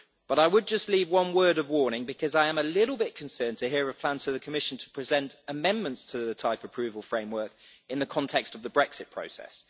I would just leave one word of warning, because I am a little bit concerned to hear of plans from the Commission to present amendments to the type approval framework in the context of the Brexit process.